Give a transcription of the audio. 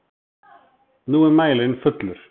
Nú er mælirinn fullur!